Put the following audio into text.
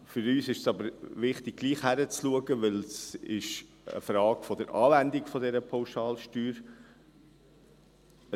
Für uns ist es aber wichtig, trotzdem hinzuschauen, weil es eine Frage der Anwendung dieser Pauschalsteuer ist.